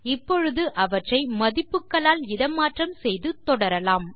இப்பொழுது அவற்றை மதிப்புகளால் இட மாற்றம் செய்து தொடரலாம்